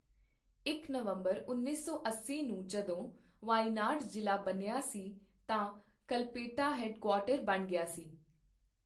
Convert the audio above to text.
ਇਕ ਨਵੰਬਰ ਉੱਨੀ ਸੌ ਅੱਸੀ ਨੂੰ ਜਦੋਂ ਵਾਇਨਾਡ ਜ਼ਿਲ੍ਹਾ ਬਣਿਆ ਸੀ, ਤਾਂ ਕਲਪੇਟਾ ਹੈੱਡਕੁਆਰਟਰ ਬਣ ਗਿਆ ਸੀ।